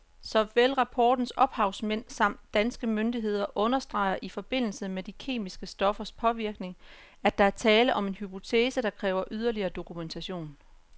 Såvel rapportens ophavsmænd samt danske myndigheder understreger i forbindelse med de kemiske stoffers påvirkning, at der er tale om en hypotese, der kræver yderligere dokumentation.